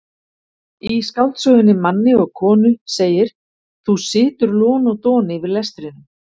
Í skáldsögunni Manni og konu segir: þú situr lon og don yfir lestrinum.